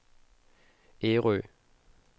Ærø